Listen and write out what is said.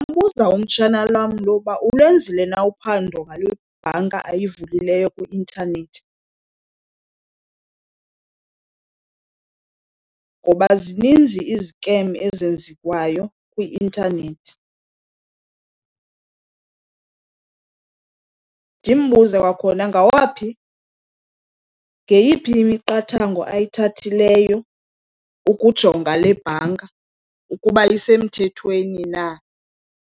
Ndingambuza umtshana wam lo uba ulwenzile na uphando ngale bhanka ayivulileyo kwi-intanethi ngoba zininzi izikem ezenziwayo kwi-intanethi. Ndimbuze kwakhona ngawaphi, ngeyiphi imiqathango ayithathileyo ukujonga le bhanka ukuba isemthethweni na.